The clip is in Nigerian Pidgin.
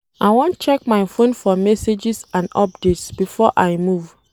I wan check my fone for messages and updates before I move.